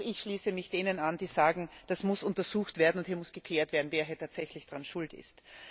Auch ich schließe mich denen an, die sagen, das muss untersucht werden und es muss geklärt werden, wer tatsächlich daran schuld ist.